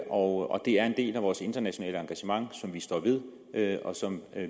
og det er en del af vores internationale engagement som vi står ved og som